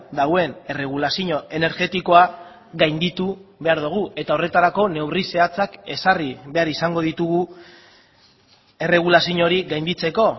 dagoen erregulazio energetikoa gainditu behar dugu eta horretarako neurri zehatzak ezarri behar izango ditugu erregulazio hori gainditzeko